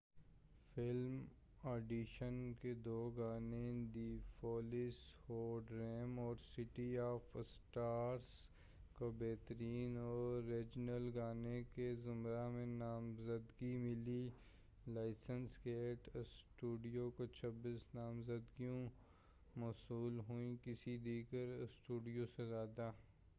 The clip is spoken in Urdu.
فلم 'آڈیشن' کے دو گانے دی فولسٖ ہو ڈریم اور سٹی آف اسٹارس کو بہترین اوریجنل گانے کے زمرہ میں نامزدگی ملی۔ لائنس گیٹ اسٹوڈیو کو 26 نامزدگیاں موصول ہوئیں- کسی دیگر اسٹوڈیو سے زیادہ